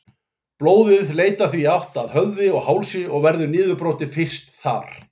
Blóðið leitar því í átt að höfði og hálsi og verður niðurbrotið fyrst þar.